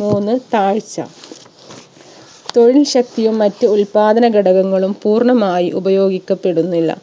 മൂന്ന് താഴ്ച ശക്തിയും മറ്റ് ഉത്പാദന ഘടകങ്ങളും പൂർണ്ണമായി ഉപയോഗിക്കപ്പെടുന്നില്ല